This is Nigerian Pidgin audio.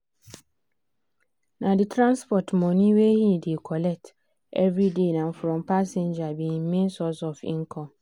na the transport money wey he dey collect every day um from passenger be him main source of income.